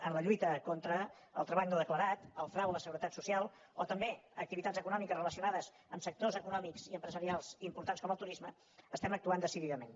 en la lluita contra el treball no declarat el frau a la seguretat social o també en activitats econòmiques relacionades amb sectors econòmics i empresarials importants com el turisme estem actuant decididament